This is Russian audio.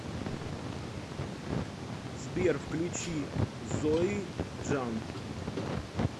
сбер включи зои джан